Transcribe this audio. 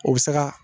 O bɛ se ka